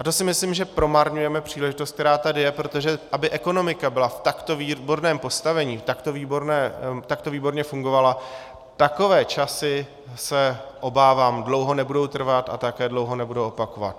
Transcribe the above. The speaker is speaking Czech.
A to si myslím, že promarňujeme příležitost, která tady je, protože aby ekonomika byla v takto výborném postavení, takto výborně fungovala, takové časy, se obávám, dlouho nebudou trvat a také dlouho nebudou opakovat.